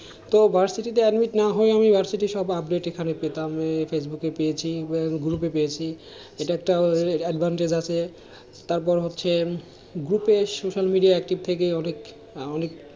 তো তে admit না হয়ে আমি সব update এখানে পেতাম ফেসবুকে পেয়েছি, গ্রুপে পেয়েছি, এটা একটা advantage আছে তারপর হচ্ছে গ্রুপে social media active থেকে অনেক অনেক,